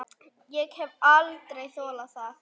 Ég hef aldrei þolað þetta